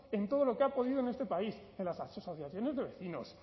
en todo lo que ha podido en este país en las asociaciones de vecinos